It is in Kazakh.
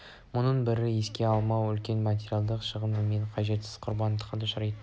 мұның бәрін есепке алмау үлкен материалдық шығын мен қажетсіз құрбандыққа душар етеді